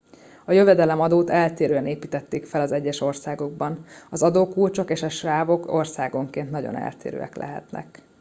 a jövedelemadót eltérően építették fel az egyes országokban az adókulcsok és a sávok országonként nagyon eltérőek lehetnek